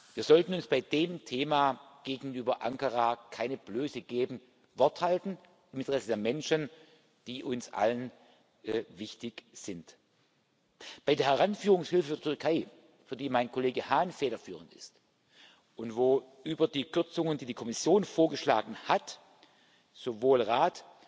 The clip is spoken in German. Wir sollten uns bei dem Thema gegenüber Ankara keine Blöße geben, Wort halten im Interesse der Menschen, die uns allen wichtig sind. Bei der Heranführungshilfe für die Türkei, für die mein Kollege Hahn federführend ist und wo über die Kürzungen, die die Kommission vorgeschlagen hat, hinaus sowohl Rat